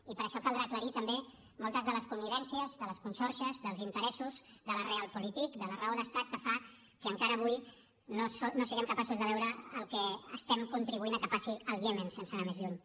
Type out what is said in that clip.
i per això caldrà aclarir també moltes de les connivències de les conxorxes dels interessos de la realpolitik de la raó d’estat que fa que encara avui no siguem capaços de veure el que estem contribuint a que passi al iemen sense anar més lluny